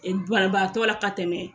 Banabaatɔ la ka tɛmɛ.